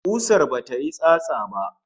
Kusar bata yi tsatsa ba?